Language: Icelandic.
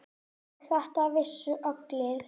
Og þetta vissu allir.